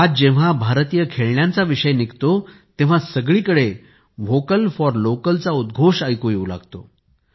आज जेव्हा भारतीय खेळण्यांचा विषय निघतो तेव्हा सगळीकडे व्होकल फॉर लोकल चा उद्घोष ऐकू येऊ लागतो